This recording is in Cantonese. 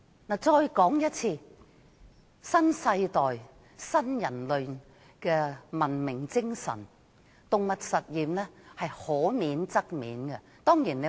我重申，按新世代新人類的文明精神，動物實驗可免則免。